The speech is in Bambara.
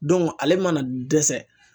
ale mana dɛsɛ